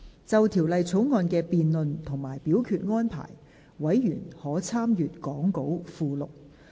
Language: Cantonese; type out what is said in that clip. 就條例草案的辯論及表決安排，委員可參閱講稿附錄。